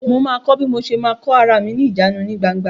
Mo ma kọ́ bí mo ma ṣe kó rami ní ìjánu ní gbangba